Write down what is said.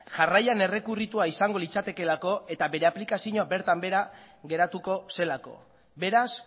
jarraian errekurritua izango litzatekeelako eta bere aplikazioa bertan behera geratuko zelako beraz